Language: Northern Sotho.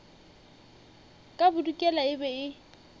ka bodikela e be e